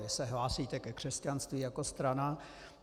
Vy se hlásíte ke křesťanství jako strana.